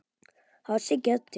Það var Siggi Öddu.